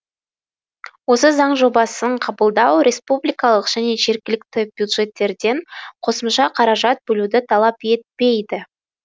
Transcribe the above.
осы заң жобасын қабылдау республикалық және жергілікті бюджеттерден қосымша қаражат бөлуді талап етпейді